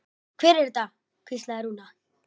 Hver er þetta? hvíslaði Rúna.